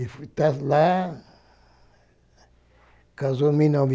E está lá, casou em mil